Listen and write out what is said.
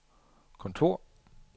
kontor